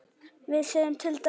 við segjum til dæmis